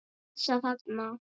Þessa þarna!